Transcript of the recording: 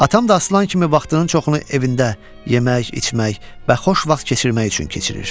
Atam da aslan kimi vaxtının çoxunu evində yemək, içmək və xoş vaxt keçirmək üçün keçirir.